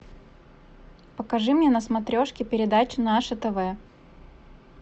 покажи мне на смотрешке передачу наше тв